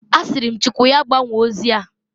Asịrị m Chukwu ya gbanwoo ozia.